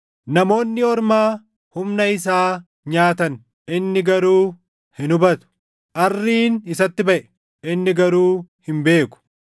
Namoonni ormaa humna isaa nyaatan; inni garuu hin hubatu. Arriin isatti baʼe; inni garuu hin beeku.